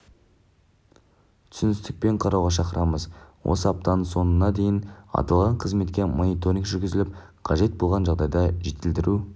түсіністікпен қарауға шақырамыз осы аптаның соңына дейін аталған қызметке мониторинг жүргізіліп қажет болған жағдайда жетілдіру